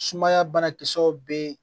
Sumaya banakisɛw bɛ yen